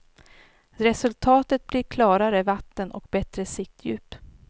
Resultatet blir klarare vatten och bättre siktdjup.